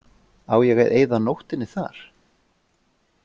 Á ég að eyða nóttinni þar?